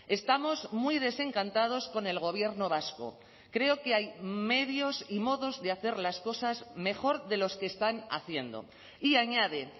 estamos muy desencantados con el gobierno vasco creo que hay medios y modos de hacer las cosas mejor de los que están haciendo y añade